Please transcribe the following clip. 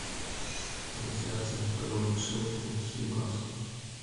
трансляция апл шеффилд с ньюкаслом